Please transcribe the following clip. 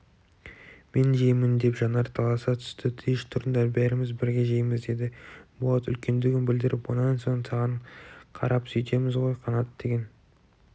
мен жеймін деп жанар таласа түсті тиыш тұрыңдар бәріміз бірге жейміз деді болат үлкендігін білдіріп онан соң саған қарапсөйтеміз ғой қанат деген